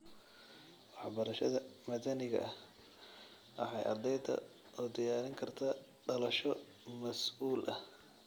Waxbarashada madaniga ah waxay ardayda u diyaarin kartaa dhalasho mas'uul ah.